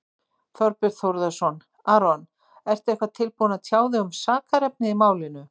Þorbjörn Þórðarson: Aron, ertu eitthvað tilbúinn að tjá þig um sakarefnið í málinu?